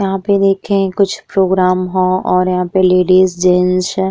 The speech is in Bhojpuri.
आप लोग के यहाँँ कुछ प्रोग्रम ह और यहाँँ पे लेडीज जेंट्स --